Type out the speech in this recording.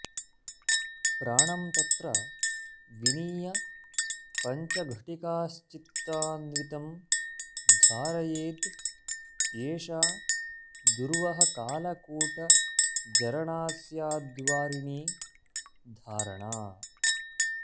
प्राणं तत्र विनीय पञ्चघटिकाश्चित्तान्वितं धारयेद् एषा दुर्वहकालकूटजरणा स्याद्वारिणी धारणा